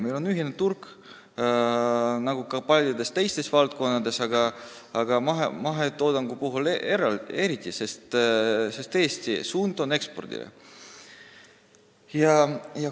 Meil on ühine turg nagu ka paljudes teistes valdkondades, aga eriti mahetoodangu puhul on suund võetud ekspordile.